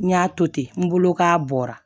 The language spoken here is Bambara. N y'a to ten n bolo k'a bɔra